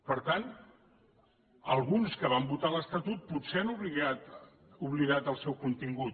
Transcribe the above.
per tant alguns que van votar l’estatut potser han oblidat el seu contingut